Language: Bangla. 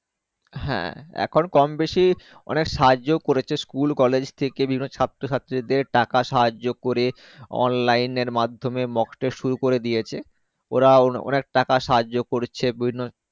হ্যাঁ এখন কম বেশি অনেক সাহায্য করেছে school college বিভিন্ন ছাত্র ছাত্রী দেড় টাকা সাহায্য করে Online এর মাধ্যমে mocktest শুরু করে দিয়েছে ওরা অনেক টাকা সাহায্য করেছে বিভিন্ন।